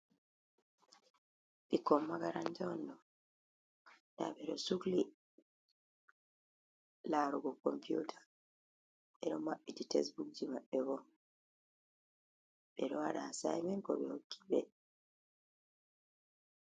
Ɓikkon makaranta on ɗo. Nɗa ɓe ɗo sukli larugo komputa, ɓe ɗo maɓɓiti tesbukji maɓɓe bo ɓe ɗo waɗa asaimen ko ɓe hokki ɓe.